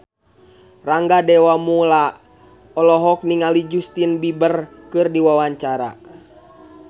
Rangga Dewamoela olohok ningali Justin Beiber keur diwawancara